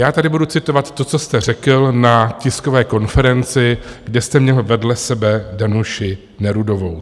Já tady budu citovat to, co jste řekl na tiskové konferenci, kde jste měl vedle sebe Danuši Nerudovou.